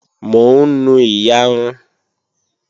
Mò ń nu iyarun